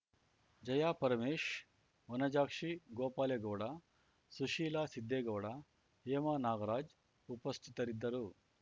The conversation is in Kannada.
ಜಯಾ ಪರಮೇಶ್‌ ವನಜಾಕ್ಷಿ ಗೋಪಾಲೇಗೌಡ ಸುಶೀಲಾ ಸಿದ್ದೇಗೌಡ ಹೇಮಾ ನಾಗರಾಜ್‌ ಉಪಸ್ಥಿತರಿದ್ದರು